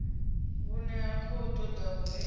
vhune ha khou ḓa uri